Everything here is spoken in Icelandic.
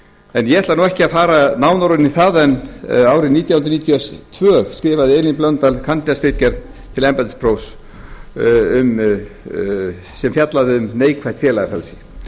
en ég ætla nú ekki að fara nánar ofan í það en árið nítján hundruð níutíu og tvö skrifaði elín blöndal kandídatsritgerð til embættisprófs sem fjallaði um neikvætt félagafrelsi